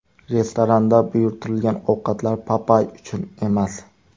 Restoranda buyurtirilgan ovqatlar Papay uchun emas.